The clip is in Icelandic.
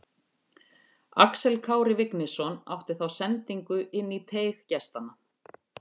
Axel Kári Vignisson átti þá sendingu inn í teig gestanna.